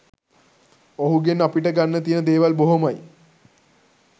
ඔහුගෙන් අපිට ගන්න තියන දේවල් බොහොමයි